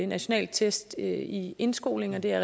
nationale test i indskolingen er